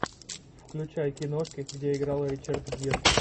включай киношки где играл ричард гир